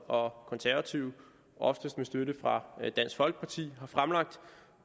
og konservative oftest med støtte fra dansk folkeparti har fremlagt